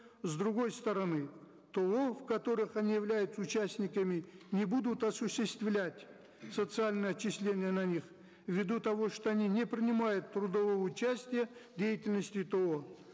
с другой стороны то в которых они являются участниками не будут осуществлять социальные отчисления на них в виду того что они не принимают трудового участия в деятельности то